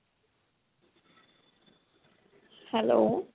hello